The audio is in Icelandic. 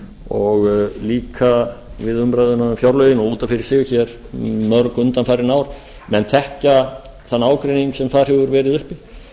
og líka við umræðuna um fjárlögin og út af fyrir sig um mörg undanfarin ár menn þekkja þann ágreining sem þar hefur verið uppi